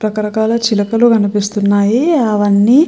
రక రకాల చిలకలు కనిపిస్తున్నాయి అవన్నీ.